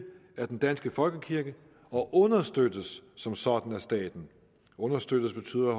er den danske folkekirke og understøttes som sådan af staten at understøtte betyder